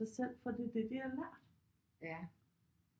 Sig selv fordi det er det de har lært